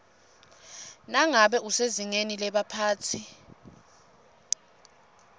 nangabe usezingeni lebaphatsi